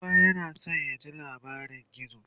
kowa yana San ya ji labarin gizo